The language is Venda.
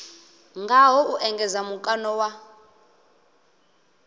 ngaho u engedza mukano wa